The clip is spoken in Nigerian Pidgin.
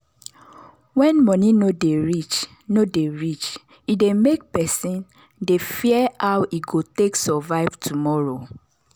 when money no dey reach no dey reach e dey make person dey fear how e go take survive tomorrow.